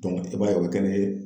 i b'a ye o bɛ kɛ ni